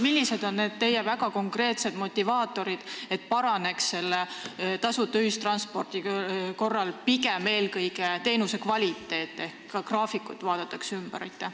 Millised on teie väga konkreetsed motivaatorid, et tasuta ühistranspordi korral paraneks eelkõige teenusekvaliteet ehk graafikud vaadataks üle?